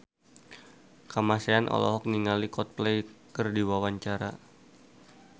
Kamasean olohok ningali Coldplay keur diwawancara